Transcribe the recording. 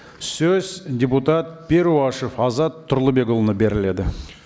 сөз депутат перуашев азат тұрлыбекұлына беріледі